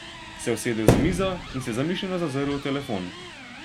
Se usedel za mizo in se zamišljeno zazrl v telefon.